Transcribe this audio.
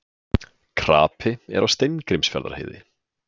Krapi er á Steingrímsfjarðarheiði